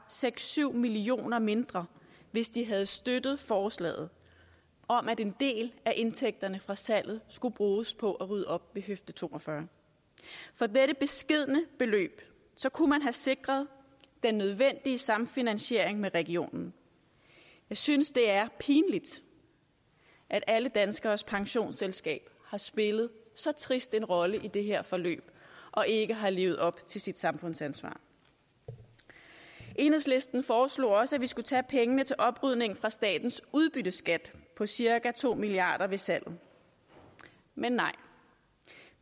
seks syv million kroner mindre hvis de havde støttet forslaget om at en del af indtægterne fra salget skulle bruges på at rydde op ved høfde to og fyrre for dette beskedne beløb kunne man have sikret den nødvendige samfinansiering med regionen jeg synes det er pinligt at alle danskeres pensionsselskab har spillet så trist en rolle i det her forløb og ikke har levet op til sit samfundsansvar enhedslisten foreslog også at vi skulle tage pengene til oprydning fra statens udbytteskat på cirka to milliard kroner ved salget men nej